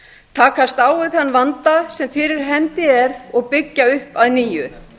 takast á við þann vanda sem fyrir hendi er og byggja upp að nýju